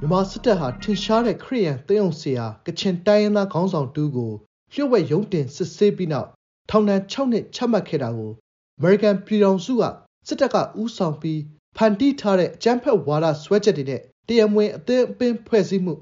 ြန်မာစစ်တပ်ဟာ ထင်ရှားတဲ့ ခရစ်ယာန် သင်းအုပ်ဆရာ ကချင်တိုင်းရင်းသား ခေါင်းဆောင်တဦးကို လျှို့ဝှက်ရုံးတင်စစ်ဆေးပြီးနောက် ထောင်ဒဏ် (၆) နှစ် ချမှတ်ခဲ့တာကို အမေရိကန်ပြည်ထောင်စုက “စစ်တပ်က ဦးဆောင်ပြီး၊ ဖန်တီး ထားတဲ့ အကြမ်းဖက်ဝါဒ စွဲချက်တွေနဲ့၊ တရားမဝင် အသင်းအပင်း ဖွဲ့စည်းမှု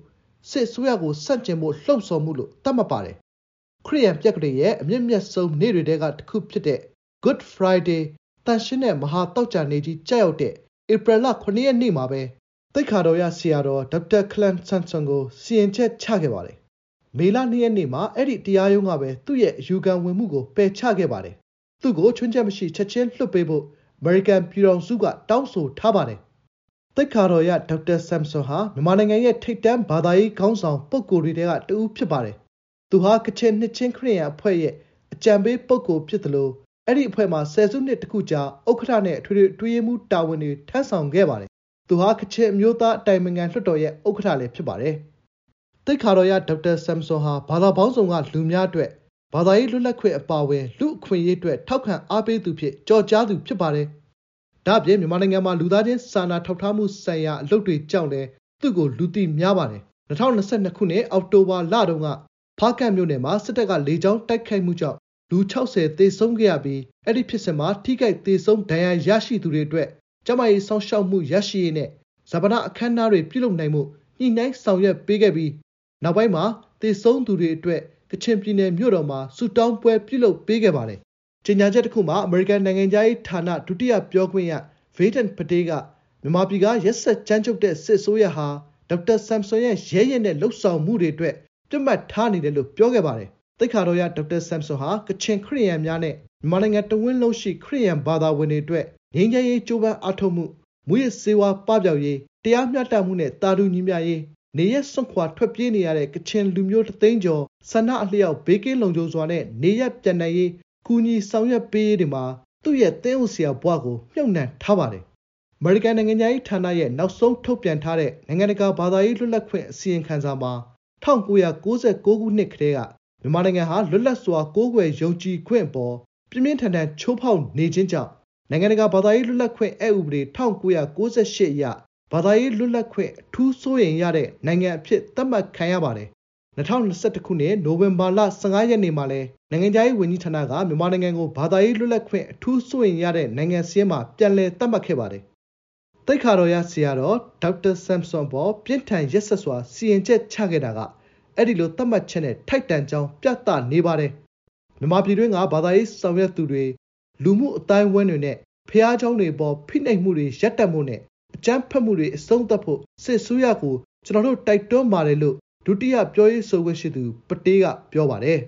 ၊ စစ်အစိုးရကို ဆန့်ကျင်ဖို့ လှုံ့ဆော်မှု” လို့ သတ်မှတ်ပါတယ်။ ခရစ်ယာန်ပြက္ခဒိန်ရဲ့ အမြင့်မြတ်ဆုံးနေ့တွေထဲက တခုဖြစ်တဲ့ Good Friday သန့်ရှင်းတဲ့ မဟာသောကြာနေ့ကြီး ကျရောက်တဲ့ ဧပြီလ ၇ ရက်နေ့မှာ သိက္ခာတော်ရ ဆရာတော် ဒေါက်တာ ခလမ်ဆမ်ဆွန်ကို စီရင်ချက်ချခဲ့ပါတယ်။ မေလ ၂ ရက်နေ့မှာ အဲဒီတရားရုံးကပဲ သူ့ရဲ့ အယူခံဝင်မှုကို ပယ်ချခဲ့ပါတယ်။ သူ့ကို ခြွင်းချက်မရှိ ချက်ချင်းလွှတ်ပေးဖို့ အမေရိကန်ပြည်ထောင်စုက တောင်းဆိုထားပါတတယ်။ သိက္ခာတော်ရ ဒေါက်တာ ဆမ်ဆွန်ဟာ မြန်မာနိုင်ငံရဲ့ ထိပ်တန်းဘာသာရေး ခေါင်းဆောင် ပုဂ္ဂိုလ်တွေထဲက တဦးဖြစ်ပါတယ်။ သူဟာ ကချင်နှစ်ခြင်းခရစ်ယာန် အဖွဲ့ရဲ့ အကြံပေး ပုဂ္ဂိုလ်ဖြစ်သလို အဲဒီအဖွဲ့မှာ ဆယ်စုနှစ်တစ်ခုကြာ ဥက္ကဋ္ဌနဲ့ အထွေထွေအတွင်းရေးမှူး တာဝန်တွေထမ်းဆောင်ခဲ့ပါတယ်။ သူဟာ ကချင်အမျိုးသား အတိုင်ပင်ခံ လွှတ်တော်ရဲ့ ဥက္ကဋ္ဌလည်း ဖြစ်ပါတယ်။ သိက္ခာတော်ရ ဒေါက်တာ ဆမ်ဆွန်ဟာ ဘာသာပေါင်းစုံက လူများအတွက် ဘာသာရေးလွတ်လပ်ခွင့် အပါအဝင် လူ့အခွင့်အရေးအတွက် ထောက်ခံအားပေးသူ အဖြစ် ကျော်ကြားပါတယ်။ ဒါ့အပြင် မြန်မာနိုင်ငံမှာ လူသားချင်းစာနာထောက်ထားမှုဆိုင်ရာ အလုပ်တွေကြောင့်လည်း သူ့ကို လူသိများပါတယ်။ ၂၀၂၂ ခုနှစ် အောက်တိုဘာလတုန်းက ဖားကန့်မြို့နယ်မှာ စစ်တပ်က လေကြောင်းတိုက်ခိုက်မှုကြောင့် လူ ၆၀ သေဆုံးခဲ့ရပြီး အဲဒီ ဖြစ်စဉ်မှာ ထိခိုက် သေဆုံး ဒဏ်ရာရရှိသူတွေ အတွက် ကျန်းမာရေး စောင့်ရှောက်မှု ရရှိရေးနဲ့ ဈာပနအခမ်းအနားပြုလုပ်နိုင်ဖို့ ညှိနှိုင်းဆောင်ရွက်ပေးခဲ့ပြီး နောက်ပိုင်းမှာ သေဆုံးသူတွေ အဝွက် ကချင်ပြည်နယ် မြို့တော်မှာ ဆုတောင်းပွဲပြုလုပ်ပေးခဲ့ပါတယ်တယ်။ ကြေညာချက်တခုမှာ အမေရိကန်နိုင်ငံခြားရေးဌာန ဒုတိယပြောခွင့်ရ ဗေးဒန့်ပတေး (Vedant Patel) က မြန်မာပြည်က ရက်စက်ကြမ်းကြုတ်တဲ့ စစ်အစိုးရဟာ ဒေါက်တာ ဆမ်ဆွန်ရဲ့ ရဲရင့်တဲ့ လုပ်ဆောင်မှုတွေ အတွက် ပစ်မှတ်ထားနေတယ်လို့ ပြောခဲ့ပါတယ်။ သိက္ခာတော်ရ ဒေါက်တာ ဆမ်ဆွန်ဟာ ကချင်ခရစ်ယာန်များနဲ့ မြန်မာနိုင်ငံတဝန်းလုံးရှိ ခရစ်ယာန်ဘာသာဝင်တွေ အတွက် ငြိမ်းချမ်းရေး ကြိုးပမ်းအားထုတ်မှု၊ မူးယစ်ဆေးဝါး ပပျောက်ရေး၊ တရားမျှတမှုနဲ့ သာတူညီမျှရေး၊ နေရပ်စွန့်ခွာ ထွက်ပြေးနေရတဲ့ ကချင်လူမျိုး တသိန်းကျော် ဆန္ဒအလျောက် ဘေးကင်းလုံခြုစွာနဲ့ နေရပ်ပြန်နိုင်ရေး ကူညီဆောင်ရွက်ပေးရေးတွေမှာ သူ့ ရဲ့ သင်းအုပ်ဆရာ ဘဝကို မြှုပ်နှံထားပါတယ်။ အမေရိကန် နိုင်ငံခြားရေးဌာနရဲ့ နောက်ဆုံး ထုတ်ပြန်ထားတဲ့ နိုင်ငံတကာ ဘာသာရေးလွတ်လပ်ခွင့် အစီရင်ခံစာမှာ ၁၉၉၉ ခုနှစ် ကတည်း မြန်မာနိုင်ငံဟာ လွတ်လပ်စွာ ကိုးကွယ်ယုံကြည်ခွင့် အပေါ် ပြင်းပြင်းထန်ထန် ချိုးဖောက်နေခြင်းကြောင့် နိုင်ငံတကာ ဘာသာရေးလွတ်လပ်ခွင့် အက်ဥပဒေ ၁၉၉၈ အရ ဘာသာရေး လွတ်လပ်ခွင့် “အထူး စိုးရိမ်ရ” တဲ့ နိုင်ငံ အဖြစ် သတ်မှတ်ခံရပါတယ်။ ၂၀၂၁ ခုနှစ် နိုဝင်ဘာလ ၁၅ ရက်နေ့မှာလည်း နိုင်ငံခြားရေးဝန်ကြီးဌာနက မြန်မာနိုင်ငံကို ဘာသာရေး လွတ်လပ်ခွင့် “အထူး စိုးရိမ်ရ” တဲ့ နိုင်ငံစာရင်းမှာ ပြန်လည်သတ်မှတ်ခဲ့ပါတယ်။။ သိက္ခာတော်ရ ဒေါက်တာ ဆမ်ဆွန် အပေါ် ပြင်းထန်ရက်စက်စွာ စီရင်ချက်ချခဲ့တာက အဲဒီလို သတ်မှတ်ချက်ချက်နဲ့ ထိုက်တန်ကြောင်း ပြသနေပါတယ်။ “မြန်မာပြည်တွင်းက ဘာသာရေး ဆောင်ရွက်သူတွေ၊ လူမှုအသိုင်းအဝိုင်းတွေနဲ့ ဘုရားကျောင်းတွေ အပေါ် ဖိနှိပ်မှုတွေ ရပ်တန့်ဖို့နဲ့ အကြမ်းဖက်မှုတွေ အဆုံးသတ်ဖို့ စစ်အစိုးရကို ကျနော်တို့ တိုက်တွန်းပါတယ်” လို့ ဒုတိယပြောရေးဆိုခွင့်ရှိသူ ပတေးက က ပြောပါတယ်